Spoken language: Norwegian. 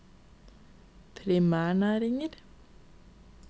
primærnæringer